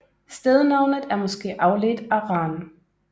Stednavnet er måske afledt af Ran